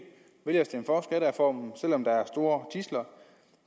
vælger at stemme for skattereformen selv om der er store tidsler